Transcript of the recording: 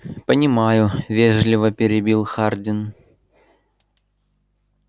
понимаю вежливо перебил хардин